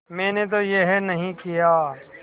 मैंने तो यह नहीं किया